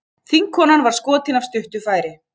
Þingkonan var skotin af stuttu færi